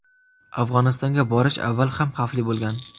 Afg‘onistonga borish avval ham xavfli bo‘lgan.